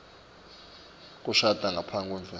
kushada ngaphasi kwemtsetfo